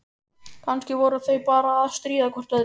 Kannski voru þau bara að stríða hvort öðru.